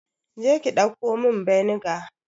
Je ki dauko min vinegar.